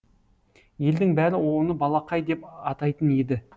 елдің бәрі оны балақай деп атайтын еді